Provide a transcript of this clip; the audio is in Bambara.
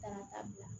Ka taa bila